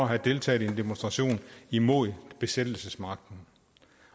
have deltaget i en demonstration imod besættelsesmagten